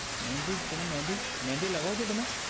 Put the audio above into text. મેંદી તમે મેંદી મેંદી લાગવો છો તમે